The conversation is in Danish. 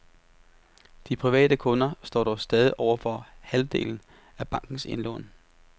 De private kunder står dog stadig for over halvdelen af bankens indlån.